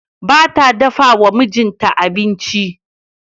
Ba ta dafa wa mijinta abinci.